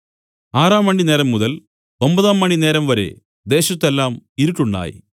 ആറാംമണി നേരംമുതൽ ഒമ്പതാംമണി നേരംവരെ ദേശത്തു എല്ലാം ഇരുട്ടുണ്ടായി